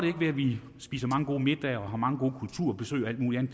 ikke ved at vi spiser mange gode middage og har mange gode kulturbesøg og alt muligt